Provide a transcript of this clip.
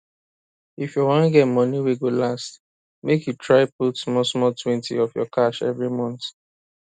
if you wan get money wey go last make you try put smallsmalltwentyof your cash every month